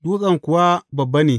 Dutsen kuwa babba ne.